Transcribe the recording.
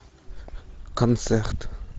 концерт